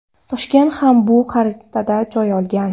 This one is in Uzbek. Toshkent ham bu xaritadan joy olgan.